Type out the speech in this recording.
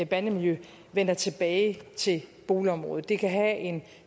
bandemiljø vender tilbage til boligområdet det kan have en